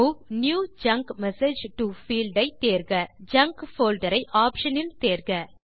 move new junk message to field ஐ தேர்க junk folder ஐ ஆப்ஷன் இல் தேர்க